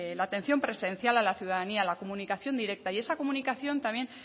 la atención presencial a la ciudadanía a la comunicación directa y esa comunicación también